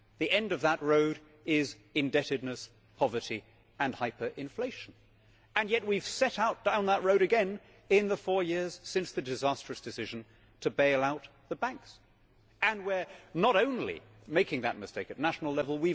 The end of that road is indebtedness, poverty and hyper inflation and yet we have set out on that road again in the four years since the disastrous decision to bail out the banks. And we are not only making that mistake at national level.